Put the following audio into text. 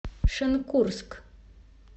шенкурск